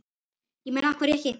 Ég meina, af hverju ekki?